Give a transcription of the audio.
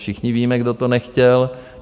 Všichni víme, kdo to nechtěl.